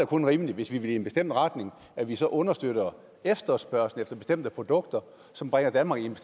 kun rimeligt hvis vi vil i en bestemt retning at vi så understøtter efterspørgslen efter bestemte produkter som bringer danmark i en